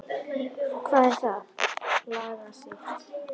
Hvað er það, lagsi?